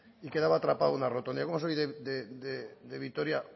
y quedaba atrapado en una rotonda yo como soy de vitoria